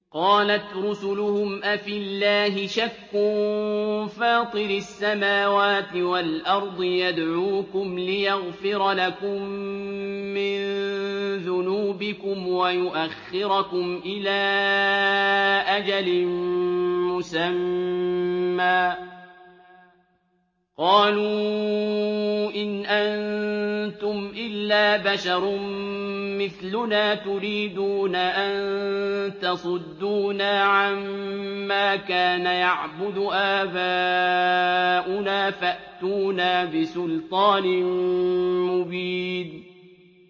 ۞ قَالَتْ رُسُلُهُمْ أَفِي اللَّهِ شَكٌّ فَاطِرِ السَّمَاوَاتِ وَالْأَرْضِ ۖ يَدْعُوكُمْ لِيَغْفِرَ لَكُم مِّن ذُنُوبِكُمْ وَيُؤَخِّرَكُمْ إِلَىٰ أَجَلٍ مُّسَمًّى ۚ قَالُوا إِنْ أَنتُمْ إِلَّا بَشَرٌ مِّثْلُنَا تُرِيدُونَ أَن تَصُدُّونَا عَمَّا كَانَ يَعْبُدُ آبَاؤُنَا فَأْتُونَا بِسُلْطَانٍ مُّبِينٍ